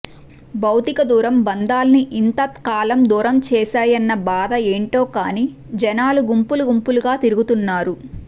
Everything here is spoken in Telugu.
భౌతిక దూరం బంధాల్ని ఇంత కాలం దూరం చేశాయన్న బాధో ఏంటో కానీ జనాలు గుంపులు గుంపులుగా తిరుగుతున్నారు